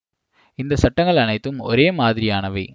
இந்த சட்டங்கள் அனைத்தும் ஒரே மாதிரியானவை